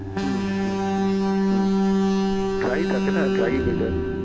হুম, হুম, হুম dry থাকে না dry weather